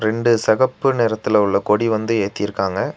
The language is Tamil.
ரெண்டு செகப்பு நிறத்துல உள்ள கொடி வந்து ஏத்திருக்காங்க.